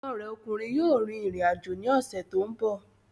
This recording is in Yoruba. Ọmọ rẹ ọkùnrin yóò rìn rìn àjò ní ọ̀sẹ̀ tó ń bọ̀